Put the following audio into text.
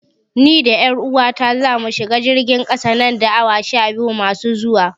Ni da 'yar uwata zamu shiga jirgin ƙasa nan da awa sha biyu masu zuwa.